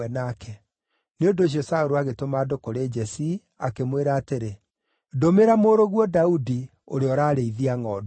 Nĩ ũndũ ũcio Saũlũ agĩtũma andũ kũrĩ Jesii, akĩmwĩra atĩrĩ, “Ndũmĩra mũrũguo Daudi, ũrĩa ũrarĩithia ngʼondu.”